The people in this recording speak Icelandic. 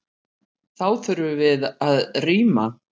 Þá þurftum við að rýma.